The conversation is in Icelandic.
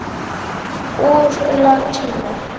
Úr latínu